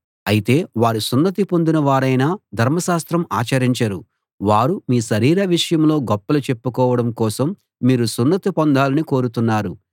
అయితే వారు సున్నతి పొందిన వారైనా ధర్మశాస్త్రం ఆచరించరు వారు మీ శరీర విషయంలో గొప్పలు చెప్పుకోవడం కోసం మీరు సున్నతి పొందాలని కోరుతున్నారు